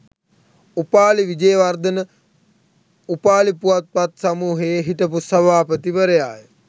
උපාලි විජේවර්ධන උපාලි පුවත්පත් සමූහයේ හිටපු සභාපතිවරයාය